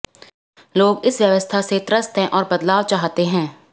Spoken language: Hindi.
लोग इस व्यवस्था से त्रस्त हैं और बदलाव चाहते हैं